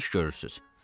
Nə iş görürsüz?